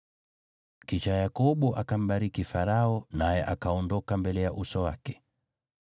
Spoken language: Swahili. Kisha Yakobo akambariki Farao, naye akaondoka mbele ya uso wake.